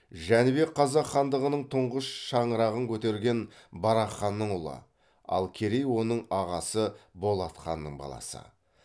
жәнібек қазақ хандығының тұңғыш шаңырағын көтерген барақ ханның ұлы ал керей оның ағасы болат ханның баласы